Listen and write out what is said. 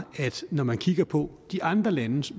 når man kigger på de andre lande